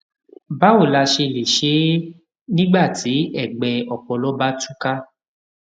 báwo la ṣe lè ṣe é nígbà tí ègbẹ ọpọlọ bá tú ká